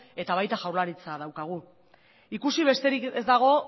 eta baita jaurlaritza ere daukagu ikusi besterik ez dago